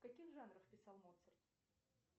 в каких жанрах писал моцарт